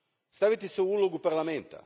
Stavite se u ulogu Parlamenta.